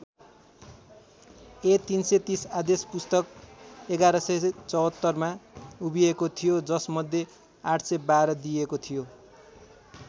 ए३३० आदेश पुस्तक ११७४ मा उभिएको थियो जस मध्ये ८१२ दिइएको थियो।